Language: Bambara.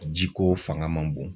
Jiko fanga ma bon.